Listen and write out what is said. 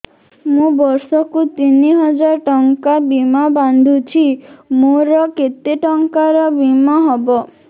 ମୁ ବର୍ଷ କୁ ତିନି ହଜାର ଟଙ୍କା ବୀମା ବାନ୍ଧୁଛି ମୋର କେତେ ଟଙ୍କାର ବୀମା ହବ